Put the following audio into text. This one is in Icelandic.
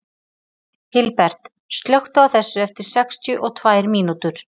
Hilbert, slökktu á þessu eftir sextíu og tvær mínútur.